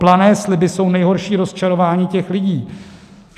Plané sliby jsou nejhorší rozčarování těch lidí.